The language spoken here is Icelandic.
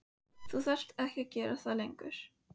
Þú þarft ekki að gera það lengur.